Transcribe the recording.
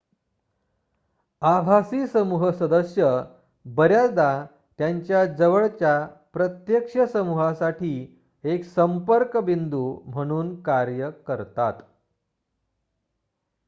आभासी समूह सदस्य बऱ्याचदा त्यांच्या जवळच्या प्रत्यक्ष समूहासाठी एक संपर्क बिंदू म्हणून कार्य करतात